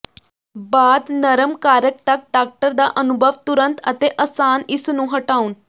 ਬਾਅਦ ਨਰਮ ਕਾਰ੍ਕ ਤੱਕ ਡਾਕਟਰ ਦਾ ਅਨੁਭਵ ਤੁਰੰਤ ਅਤੇ ਅਸਾਨ ਇਸ ਨੂੰ ਹਟਾਉਣ